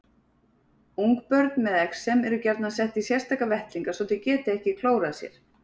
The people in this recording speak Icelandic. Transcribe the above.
Ungbörn með exem eru gjarnan sett í sérstaka vettlinga svo þau geti ekki klórað sér.